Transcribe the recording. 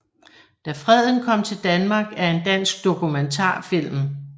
Da Freden kom til Danmark er en dansk dokumentarfilm